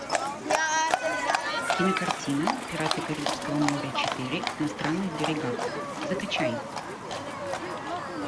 кинокартина пираты карибского моря четыре на странных берегах закачай